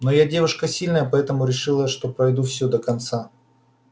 но я девушка сильная поэтому решила что пройду всё до конца